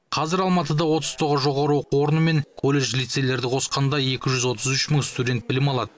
қазір алматыда отыз тоғыз жоғары оқу орны мен колледж лицейлерді қосқанда екі жүз отыз үш мың студент білім алады